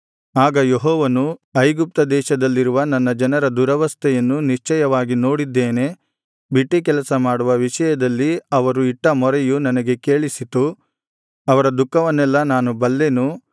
ಆಗ ಯೆಹೋವನು ಐಗುಪ್ತ ದೇಶದಲ್ಲಿರುವ ನನ್ನ ಜನರ ದುರವಸ್ಥೆಯನ್ನು ನಿಶ್ಚಯವಾಗಿ ನೋಡಿದ್ದೇನೆ ಬಿಟ್ಟೀ ಕೆಲಸ ಮಾಡುವ ವಿಷಯದಲ್ಲಿ ಅವರು ಇಟ್ಟ ಮೊರೆಯು ನನಗೆ ಕೇಳಿಸಿತು ಅವರ ದುಃಖವನ್ನೆಲ್ಲಾ ನಾನು ಬಲ್ಲೆನು